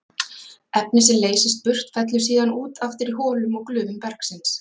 Efnið sem leysist burt fellur síðan út aftur í holum og glufum bergsins.